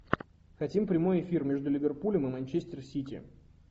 хотим прямой эфир между ливерпулем и манчестер сити